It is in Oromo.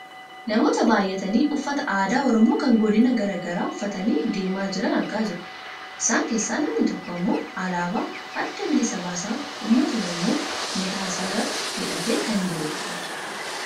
namoota baayyatanii uffata aadaa oromoo kan godina gara garaa uffatanii deemaa jiran argaa jirra. isaan keessaa namni tokko ammoo alaabaaa adda bilisa baasaa uummata oromoo mataa isaa irratti hidhatee kan jirudha.